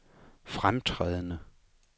fremtrædende